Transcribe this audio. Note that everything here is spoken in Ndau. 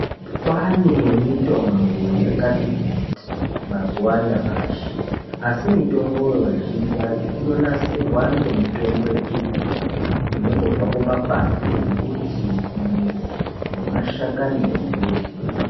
Kwaane mitombo yakati kuti mazuva anyamashi asi mitomboyo, mizhinji yacho inonasirwa ngemitombo yechibhoyi inondobva kumakwati embuti kumidzi nemashakani embuti.